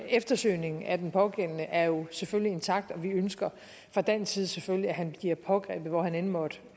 eftersøgningen af den pågældende er jo selvfølgelig intakt og vi ønsker fra dansk side selvfølgelig at han bliver pågrebet hvor han end måtte